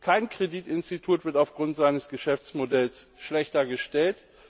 Kein Kreditinstitut wird aufgrund seines Geschäftsmodells schlechter gestellt.